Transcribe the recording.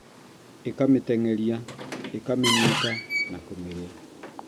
ĩkamĩteng'eria ĩkamĩnyita na kũmĩrĩa